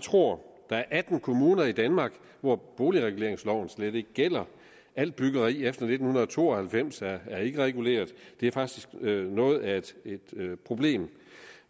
tror der er atten kommuner i danmark hvor boligreguleringsloven slet ikke gælder alt byggeri efter nitten to og halvfems er ikke reguleret og det er faktisk noget af et problem